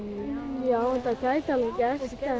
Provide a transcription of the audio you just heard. já þetta gæti alveg gerst